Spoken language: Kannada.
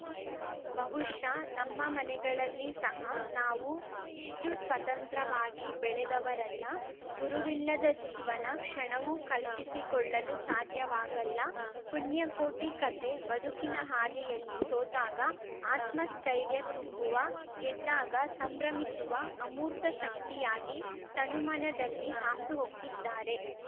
ಬಹುಷಃ ನಮ್ಮ ಮನೆಗಳಲ್ಲಿ ಸಹ ನಾವು ಇಷ್ಟುಸ್ವತಂತ್ರವಾಗಿ ಬೆಳೆದವರಲ್ಲ ಗುರುವಿಲ್ಲದ ಜೀವನ ಕ್ಷಣವು ಕಲ್ಪಿಸಿಕೊಳ್ಳಲು ಸಾಧ್ಯವಾಗಲ್ಲ ಪುಣ್ಯಕೋಟಿ ಕತೆ ಬದುಕಿನ ಹಾದಿಯಲ್ಲಿ ಸೋತಾಗ ಆತ್ಮಸ್ಥೈರ್ಯ ತುಂಬುವ ಗೆದ್ದಾಗ ಸಂಭ್ರಮಿಸುವ ಅಮೂರ್ತ ಶಕ್ತಿಯಾಗಿ ತನುಮನದಲ್ಲಿ ಹಾಸುಹೊಕ್ಕಿದ್ದಾರೆ